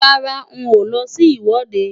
Rárá, n ò lọ sí ìwọ́de.